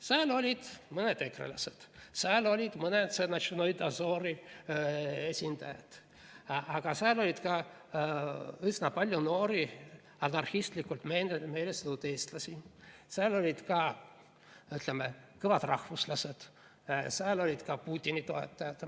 Seal olid mõned ekrelased, seal olid mõned Notšnoi Dozori esindajad, aga seal oli ka üsna palju noori anarhistlikult meelestatud eestlasi, seal olid ka, ütleme, kõvad rahvuslased, seal olid ka Putini toetajad.